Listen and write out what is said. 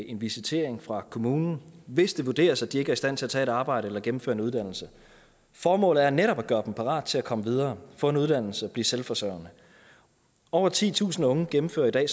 en visitering fra kommunen hvis det vurderes at de ikke er i stand til at tage et arbejde eller gennemføre en uddannelse formålet er netop at gøre dem parat til at komme videre få en uddannelse og blive selvforsørgende over titusind unge gennemfører i dag